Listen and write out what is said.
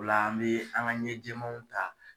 Ola an mɛ an ka ɲɛ jɛɛmaw ta